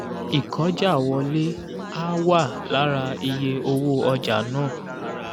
ìkọ́jàwọlé á wà lára iye owó ọjà náà.